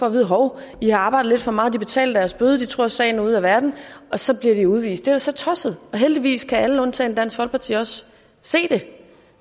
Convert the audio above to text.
at vide hov i har arbejdet lidt for meget de betaler deres bøde de tror at sagen er ude af verden og så bliver de udvist det er jo så tosset og heldigvis kan alle undtagen dansk folkeparti også se det